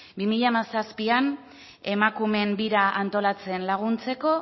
bi mila hamazazpian emakumeen bira antolatzen laguntzeko